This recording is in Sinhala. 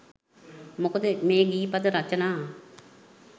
මොකද මේ ගීත පද රචනා